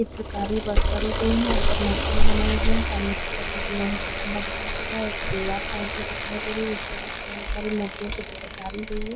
चित्रकारी वर्क करी गयी है यहाँ पे मूर्ति बनाई गई है सामने की तरफ एक लोहे का खंभा दिखाई दे रहा है एक दिवार साइड भी दिखाई दे रही है उसपे भी बहोत सारी मूर्तियाँ से चित्रकारी गयी है।